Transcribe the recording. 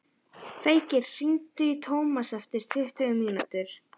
Feykir, hringdu í Tómas eftir tuttugu mínútur.